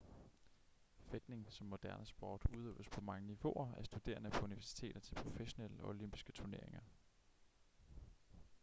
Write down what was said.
fægtning som moderne sport udøves på mange niveauer af studerende på universiteter til professionelle og olympiske turneringer